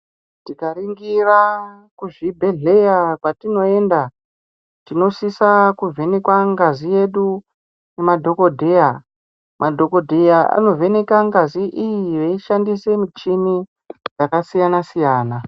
Tikaringira kuzvibhedhleya kwatinoenda, tinosisa kuvhenekwa ngazi yedu, kumadhokodheya. Madhokodheya anovheneka ngazi iyi veishandise michini , yakasiyana-siyana.